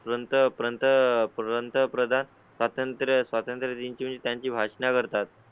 पर्यंत पर्यंत प्रंतप्रधान स्वातंत्र्य, स्वातंत्र्य दिन ची त्यांची भाषणं करतात.